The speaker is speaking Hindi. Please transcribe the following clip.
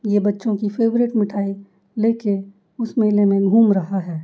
ये बच्चों की फेवरेट मिठाई लेके उस मेले में घूम रहा है।